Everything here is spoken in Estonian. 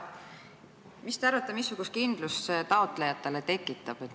Mis te arvate, missugust kindlust see taotlejatele tekitab?